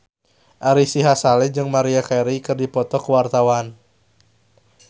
Ari Sihasale jeung Maria Carey keur dipoto ku wartawan